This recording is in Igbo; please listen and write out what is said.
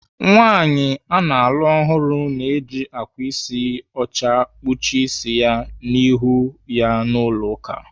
Nwaanyị ana alụ ọhụrụ na-eji ákwà ịsị ọcha ekpuchi ịsị ya na ihu ya n'ụlọ ụka.